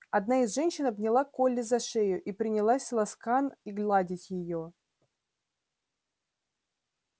одна из женщин обняла колли за шею и принялась ласкан и гладить её